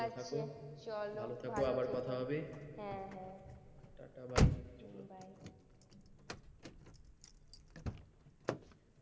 ভালো থাকো চলো ভালো থেকো আবার কথা হবে হ্যাঁ হ্যাঁ টাটা বাই চলো bye